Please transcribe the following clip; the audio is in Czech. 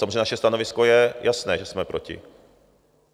Samozřejmě naše stanovisko je jasné, že jsme proti.